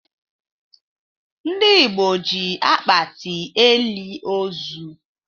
Ndị Igbo ji akpati elị ozu.